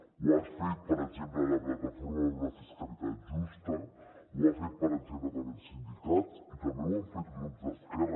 ho ha fet per exemple la plataforma per una fiscalitat justa ho han fet per exemple també els sindicats i també ho han fet grups d’esquerra